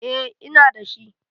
Eh ina da shi.